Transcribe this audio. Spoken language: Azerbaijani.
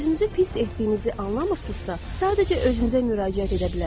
Özünüzü pis etdiyinizi anlamırsınızsa, sadəcə özünüzə müraciət edə bilərsiniz.